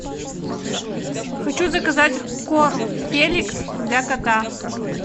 хочу заказать корм феликс для кота